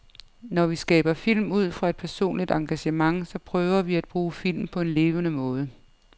Når vi skaber film ud fra et personligt engagement, så prøver vi at bruge film på en levende måde.